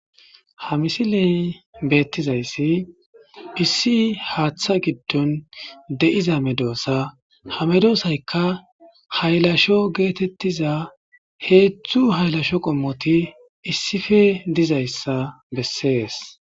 Ha misiley beettizayssi issi haatha giddon de'iza medossa ha medossayka haylasho geetetiza hedzdzu haylasho qomoti issipe dizayssa besees.